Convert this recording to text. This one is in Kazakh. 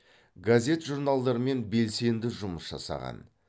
газет журналдармен белсенді жұмыс жасаған